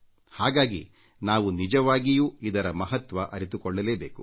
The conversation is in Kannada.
ಹಾಗಾಗಿ ನಾವು ನಿಜವಾಗಿಯೂ ಇವುಗಳ ಮಹತ್ವ ಅರಿತುಕೊಳ್ಳಬೇಕು